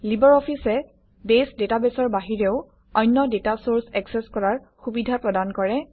Libre অফিছে base ডাটাবেছৰ বাহিৰেও অন্য ডাটা চৰ্চ একচেচ কৰাৰ সুবিধা প্ৰদান কৰে